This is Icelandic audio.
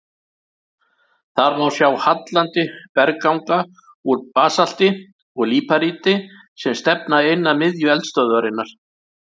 Þar má sjá hallandi bergganga úr basalti og líparíti sem stefna inn að miðju eldstöðvarinnar.